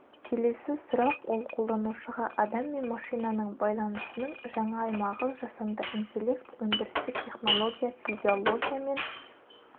келесі сұрақ ол қолданышуға адам мен машинаның байланысының жаңа аймағы жасанды интеллект өндірістік технология физиология мен